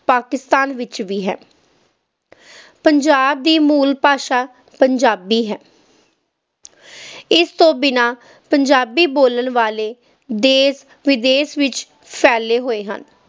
ਪਾਕਿਸਤਾਨ ਵਿੱਚ ਵੀ ਹੈ ਪੰਜਾਬ ਦੀ ਮੂਲ ਭਾਸ਼ਾ ਪੰਜਾਬੀ ਹੈ ਇਸ ਤੋਂ ਬਿਨਾਂ ਪੰਜਾਬੀ ਬੋਲਣ ਵਾਲੇ ਦੇਸ-ਵਿਦੇਸ ਵਿੱਚ ਫੈਲੇ ਹੋਏ ਹਨ।